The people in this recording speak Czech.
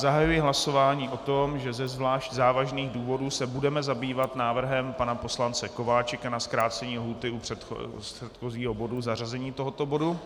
Zahajuji hlasování o tom, že ze zvlášť závažných důvodů se budeme zabývat návrhem pana poslance Kováčika na zkrácení lhůty u předchozího bodu, zařazení tohoto bodu.